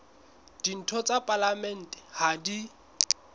ditho tsa palamente ha di